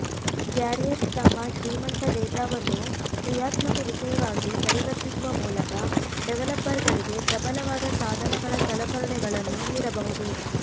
carriers ತಮ್ಮ ಶ್ರೀಮಂತ ಡೇಟಾವನ್ನು ಕ್ರಿಯಾತ್ಮಕ ವಿಷಯವಾಗಿ ಪರಿವರ್ತಿಸುವ ಮೂಲಕ ಡೆವಲಪರ್ಗಳಿಗೆ ಪ್ರಬಲವಾದ ಸಾಧನಗಳ ಸಲಕರಣೆಗಳನ್ನು ನೀಡಬಹುದು